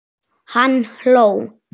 Hann hló.